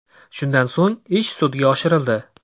Shundan so‘ng ish sudga oshirildi.